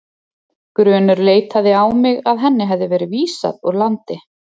Grunur leitaði á mig að henni hefði verið vísað úr landi.